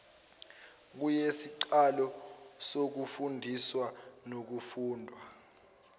kuyisiqalo sokufundiswa nokufundwa